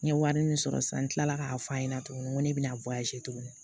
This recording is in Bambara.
N ye wari min sɔrɔ sisan n tilala k'a f'a ɲɛna tuguni ko ne bɛna tuguni